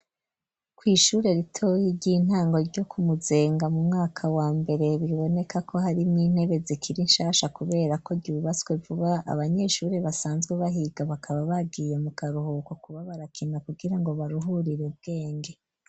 Kw'ishure ritoya, ry'intango, ryo ku Muzenga, mu mwaka wa mbere; biboneka ko, harimwo intebe, zikiri nshasha, kubera ko, ryubatswe vuba; abanyeshure basanzwe bahiga, bakaba bagiye, mu karuhuko, kuba barakina, kugira ngo, baruhurire bwenge.